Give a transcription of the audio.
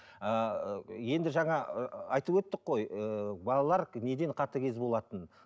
ыыы енді жаңа ы айтып өттік қой ыыы балалар неден қатыгез болатынын